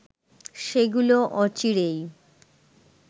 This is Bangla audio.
সেগুলো অচিরেই